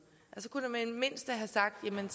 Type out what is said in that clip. så kunne man mindste have sagt at man